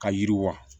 Ka yiriwa